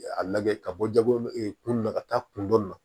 A lajɛ ka bɔ jago ɛ kun na ka taa kun dɔn na